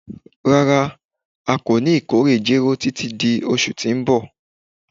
Rara, a ko ni ikore jero titi di oṣu ti n bọ